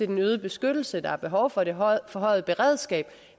den øgede beskyttelse der er behov for det forhøjede beredskab